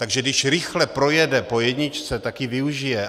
Takže když rychle projede po jedničce, tak ji využije.